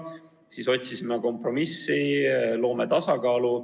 Nii otsisime kompromissi ja otsustasime, et loome tasakaalu.